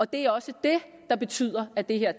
det er også det der betyder at det her